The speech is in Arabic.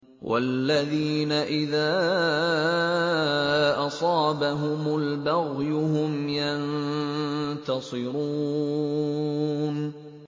وَالَّذِينَ إِذَا أَصَابَهُمُ الْبَغْيُ هُمْ يَنتَصِرُونَ